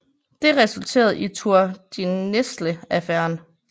Det resulterede i Tour de Nesle Affæren